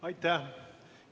Aitäh!